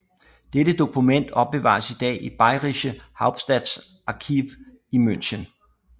Dette dokument opbevares i dag i Bayrische Hauptstaatsarchiv i München